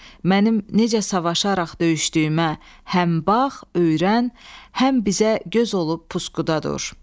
Mənim necə savaşaraq döyüşdüyümə həm bax, öyrən, həm bizə göz olub puskuda dur.